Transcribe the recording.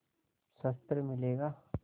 शस्त्र मिलेगा